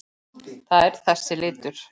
Það er þessi litur.